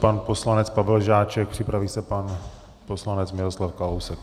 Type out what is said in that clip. Pan poslanec Pavel Žáček, připraví se pan poslanec Miroslav Kalousek.